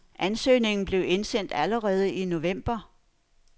Ansøgningen blev indsendt allerede i november.